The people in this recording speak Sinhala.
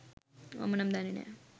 මම නම් දන්නෙ නෑ.